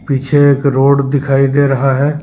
पीछे एक रोड दिखाई दे रहा है।